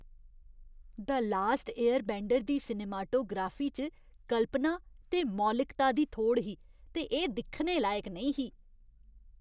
The last airbender' दी cinematography च कल्पना ते मौलिकता दी थोड़ ही ते एह् दिक्खने लायक नेईं ही।